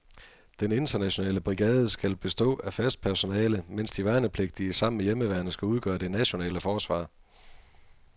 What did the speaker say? Den internationale brigade skal bestå af fast personale, mens de værnepligtige sammen med hjemmeværnet skal udgøre det nationale forsvar.